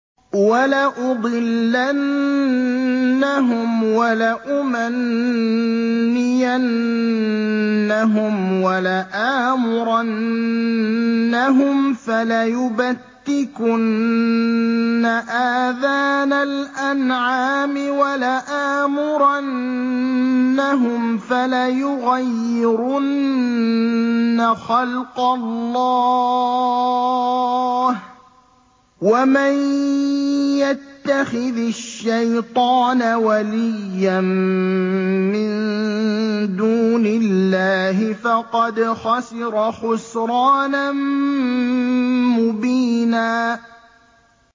وَلَأُضِلَّنَّهُمْ وَلَأُمَنِّيَنَّهُمْ وَلَآمُرَنَّهُمْ فَلَيُبَتِّكُنَّ آذَانَ الْأَنْعَامِ وَلَآمُرَنَّهُمْ فَلَيُغَيِّرُنَّ خَلْقَ اللَّهِ ۚ وَمَن يَتَّخِذِ الشَّيْطَانَ وَلِيًّا مِّن دُونِ اللَّهِ فَقَدْ خَسِرَ خُسْرَانًا مُّبِينًا